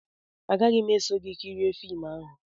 Agaghị m eso gị kirie fim ahụ